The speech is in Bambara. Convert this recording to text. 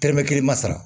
Tɛrɛmɛ kelen ma sara